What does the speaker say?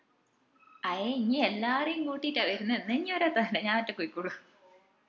അയെ ഇഞ് എല്ലാരേം കൂട്ടിട്ടാ വെർന്നെ എന്ന ഇഞ് വരാതെ നല്ലേ ഞാൻ ഒറ്റക്ക് പോയിക്കോളും